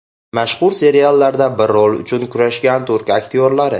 Mashhur seriallarda bir rol uchun kurashgan turk aktyorlari .